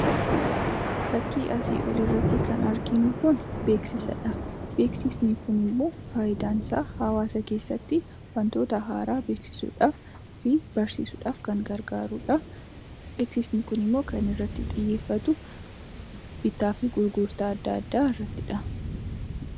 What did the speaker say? Fakkii asii oliirratti kan arginu kuni beeksisadha. Beeksisni kun immoo fayidaan isaa hawaasa keessatti wantoota haaraa beeksisuudhaafi barsiisuudhaaf kan gargaaruudha. Beeksisni kunisimmoo kan irratti xiyyeeffatu, bittaafii gurgurtaa adda addaa irrattidha.